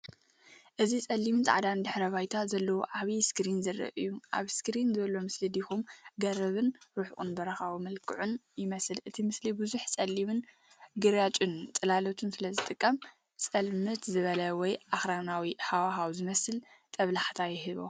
እዚ ጸሊምን ጻዕዳን ድሕረ ባይታ ዘለዎ ዓቢ ስክሪን ዘርኢ እዩ። ኣብ ስክሪን ዘሎ ምስሊ ድኹም ገረብን ርሑቕ በረኻዊ መልክዕን ይመስል። እቲ ምስሊ ብዙሕ ጸሊምን ግራጭን ጽላሎት ስለ ዝጥቀም፡ ጽልምት ዝበለ ወይ ኣኽራናዊ ሃዋህው ዝመስል ጦብላሕታ ይህብ።